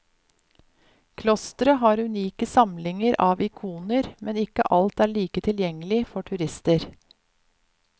Klostre har unike samlinger av ikoner, men ikke alt er like tilgjengelig for turister.